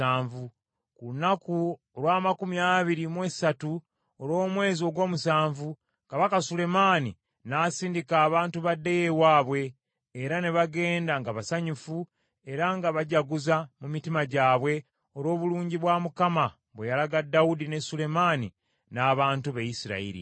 Ku lunaku olw’amakumi abiri mu esatu olw’omwezi ogw’omusanvu, Kabaka Sulemaani n’asindika abantu baddeyo ewaabwe, era ne bagenda nga basanyufu era nga bajaguza mu mitima gyabwe olw’obulungi bwa Mukama bwe yalaga Dawudi ne Sulemaani n’abantu be Isirayiri.